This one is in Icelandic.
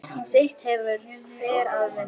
Sitt hefur hver að vinna.